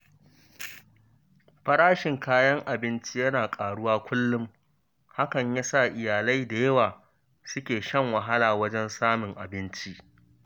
Farashin kayan abinci yana ƙaruwa kullum, hakan ya sa iyalai da yawa suke shan wahala wajen samun abinci.